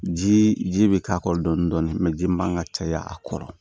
Ji ji bɛ k'a kɔrɔ dɔɔnin dɔɔnin ji min man ka caya a kɔrɔ